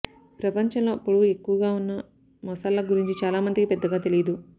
ప్రపంచంలో పొడవు ఎక్కువగా ఉన్న మొసళ్ల గురించి చాలా మందికి పెద్దగా తెలియదు